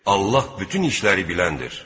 Allah bütün işləri biləndir.